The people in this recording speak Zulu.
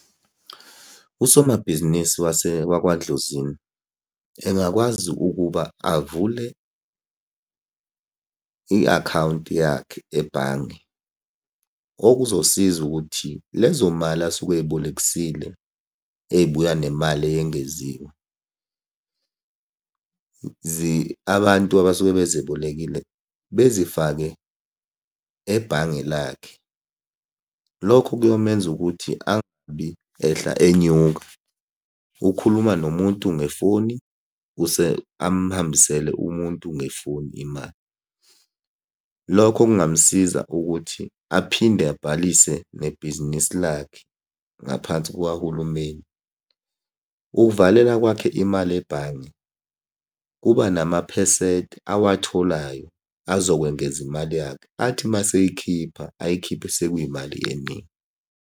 Usomabhizinisi wakwaDlozini, engakwazi ukuba avule i-akhawunti yakhe ebhange, okuzosiza ukuthi lezo mali asuke ey'bolekisile ey'buya nemali eyengeziwe, abantu abasuke bezebolekile bezifake ebhange lakhe. Lokho kuyomenza ukuthi angabi ehla enyuka. Ukhuluma nomuntu ngefoni amuhambisele umuntu ngefoni imali. Lokho okungamusiza ukuthi aphinde abhalise nebhizinisi lakhe ngaphansi kukahulumeni. Ukuvalela kwakhe imali ebhange kuba namaphesenti awatholayo azokwengeza imali yakhe, athi uma eseyikhipha ayikhiphe sekuyimali eningi.